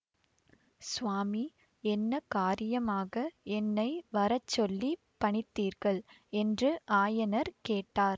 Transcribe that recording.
சுவாமி என்ன காரியமாக என்னை வரச்சொல்லிப் பணித்தீர்கள் என்று ஆயனர் கேட்டார்